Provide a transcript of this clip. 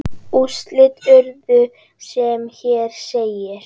Úrslit urðu sem hér segir